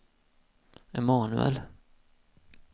Emanuel